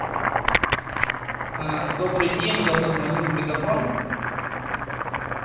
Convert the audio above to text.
добрый день я позвонил в мегафон